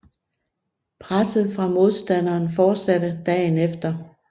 Presset fra modstanderen fortsatte dagen efter